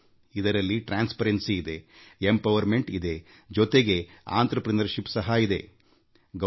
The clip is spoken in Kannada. ಇದುವೇ ಪಾರದರ್ಶಕತೆ ಇದು ಸಬಲೀಕರಣ ಇದು ಉದ್ಯಮಶೀಲತೆಯೂ ಹೌದು